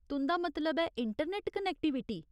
तुं'दा मतलब ऐ, इंटरनेट कनेक्टिविटी ?